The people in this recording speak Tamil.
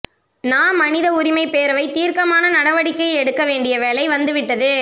நா மனித உரிமைப்பேரவை தீர்க்கமான நடவடிக்கை எடுக்க வேண்டிய வேளை வந்துவிட்டது